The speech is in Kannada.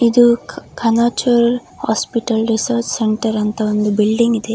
ಇದು ಕಣಚೂರ್ ಹಾಸ್ಪಿಟಲ್ ರಿಸರ್ಚ್ ಸೆಂಟರ್ ಅಂತ ಒಂದು ಬಿಲ್ಡಿಂಗ್ ಇದೆ.